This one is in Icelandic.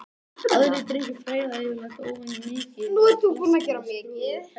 Aðrir drykkir freyða yfirleitt óvenjumikið þegar flaskan er skrúfuð úr tækinu.